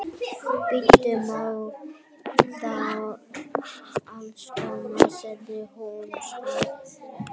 Biddu mig þá afsökunnar, sagði hún snúðug.